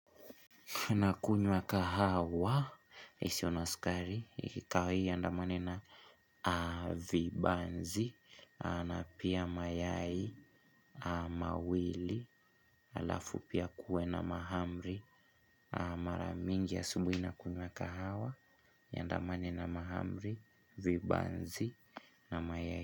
Nakunywa kahawa, isiyona sukari, ikikawia iandamane na vibanzi, na pia mayai, mawili alafu pia kuwe na mahamri, mara mingi asubuhi nakunywa kahawa, iandamane na mahamri, vibanzi na mayai.